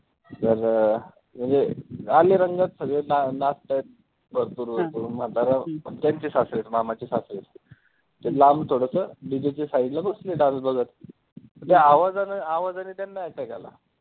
तर अं म्हणजे आले रंगात सगळे ना नाचतात भरपूर भरपूर म्हातारा त्यांचे सासरे आहे मामाचे सासरे आहेत ते लांब थोडंस DJ च्या side ने बसले dance बघतं ते आवजानं आवाजाने त्यांना attack आला.